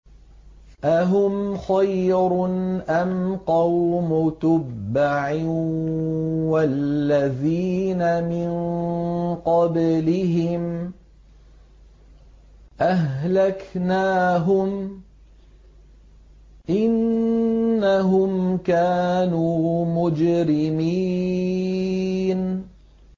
أَهُمْ خَيْرٌ أَمْ قَوْمُ تُبَّعٍ وَالَّذِينَ مِن قَبْلِهِمْ ۚ أَهْلَكْنَاهُمْ ۖ إِنَّهُمْ كَانُوا مُجْرِمِينَ